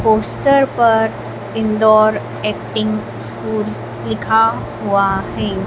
Poster पर indoor acting school लिखा हुआ है।